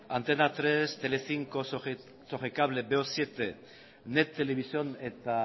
antena hiru telecinco sogecable veo zazpi net televisión eta